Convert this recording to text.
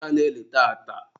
onye ka ana-eli tata?